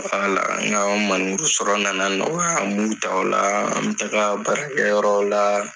Wala, nka o minɛnburu sɔrɔ nana nɔgɔ , mun ta o la , n bɛ taga baarakɛ yɔrɔw la.